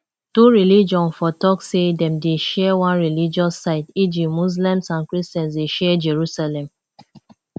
two religion for talk sey dem dey share one religious site eg muslims and christians dey share jerusalem